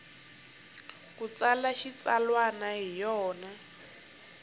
u tsala xitsalwana hi yona